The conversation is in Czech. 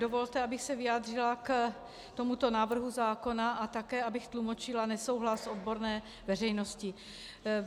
Dovolte, abych se vyjádřila k tomuto návrhu zákona a také abych tlumočila nesouhlas odborné veřejnosti.